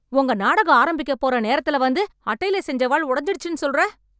உங்க நாடகம் ஆரம்பிக்கப் போற நேரத்துல வந்து, அட்டைல செஞ்ச வாள் ஒடஞ்சிடுச்சுன்னு சொல்றே...